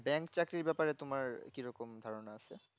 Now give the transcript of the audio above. bank চাকরি ব্যাপারে তোমার কি রকম ধারণা আছে